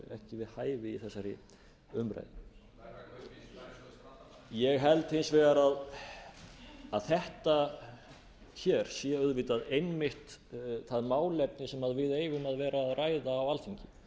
við hæfi í þessari umræðu ég held hins vegar að þetta hér sé auðvitað einmitt það málefni sem við eigum að vera að ræða á alþingi